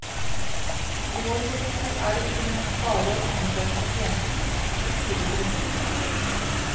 I vår profesjon er det ikke nok bare å undersøke pasienten og skrive ut resepter.